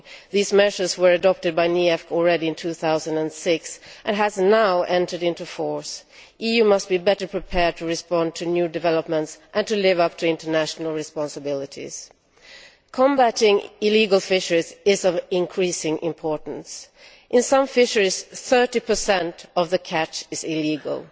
These measures were adopted by the NEAFC as early as 2006 and have only now entered into force. The EU must be better prepared to respond to new developments and to live up to international responsibilities. Combating illegal fisheries is of increasing importance. In some fisheries, 30 of the catch is illegal.